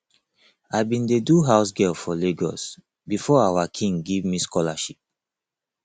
i bin dey do house girl for lagos before our king give me scholarship